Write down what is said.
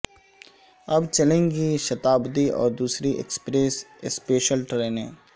اب چلیں گی شتابدی اور دوسری ایکسپریس اسپیشل ٹرینیں